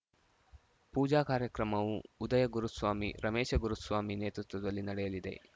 ಪೂಜಾ ಕಾರ್ಯಕ್ರಮವು ಉದಯ ಗುರುಸ್ವಾಮಿ ರಮೇಶ ಗುರುಸ್ವಾಮಿ ನೇತೃತ್ವದಲ್ಲಿ ನಡೆಯಲಿದೆ